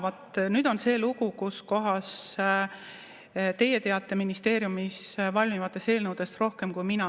Vaat nüüd on see lugu, kus teie teate ministeeriumis valmivatest eelnõudest rohkem kui mina.